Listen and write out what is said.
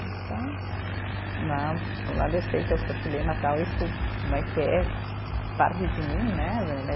Então, não por um lado eu sei que eu sou chilena tal, isso né que é parte de mim, né né?